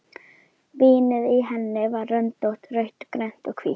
Vínið í henni var röndótt, rautt, grænt og hvítt.